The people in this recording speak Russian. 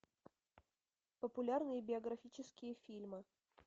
популярные биографические фильмы